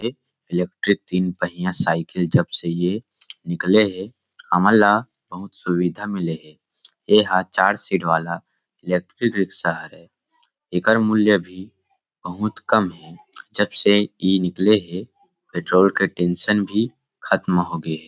एक इलेक्ट्रिक तीन पहिया साइकिल जब से ये निकले हे हमन ल बहुत सुविधा मिले है एहा चार सीट वाला इलेक्ट्रिक रिक्सा हरे एकर मूल्य भी बहुत कम हे जब से इ निकले हे पेट्रोल के टेन्सन भी खत्म हो गे हे ।